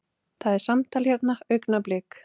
Það er samtal hérna, augnablik.